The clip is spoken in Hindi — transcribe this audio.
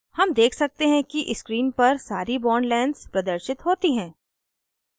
हम देख सकते हैं कि स्क्रीन पर सारी bond lengths प्रदर्शित होती हैं